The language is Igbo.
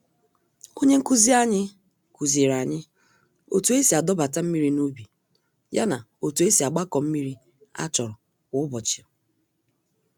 Onye nkụzi anyị, kuziri anyị otú esi adọbata mmiri n'ubi, ya na otú esi agbakọ mmírí a chọrọ kwá ụbọchị